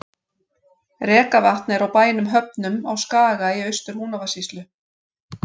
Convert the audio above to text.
Rekavatn er á bænum Höfnum á Skaga í Austur-Húnavatnssýslu.